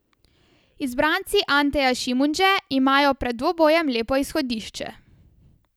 Izbranci Anteja Šimundže imajo pred dvobojem lepo izhodišče.